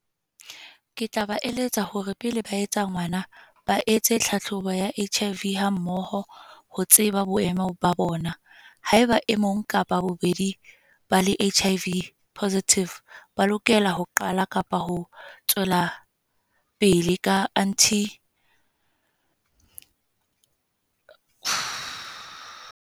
Ke tla ba eletsa hore pele ba etsa ngwana, ba etse tlhahlobo ya H_I_V, ha mmoho ho tseba boemo ba bona. Haeba e mong kapa bobedi ba le H_I_V positive, ba lokela ho qala kapa ho tswela pele ka anti .